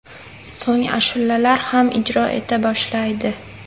So‘ng ashulalar ham ijro eta boshlaydi.